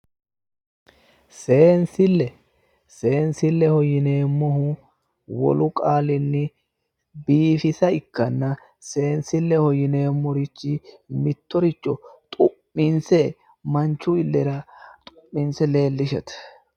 Seensle seensilleho yineemohu wolu qaalinni biifisa ikkana seensille yineemorichi mittoricho xu'minse manichu illera xu'minse leelishshate